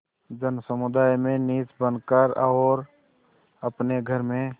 जनसमुदाय में नीच बन कर और अपने घर में